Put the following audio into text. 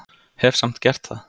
Hef samt gert það.